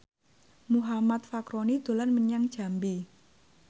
Muhammad Fachroni dolan menyang Jambi